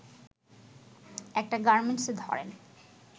একটা গার্মেন্টসে ধরেন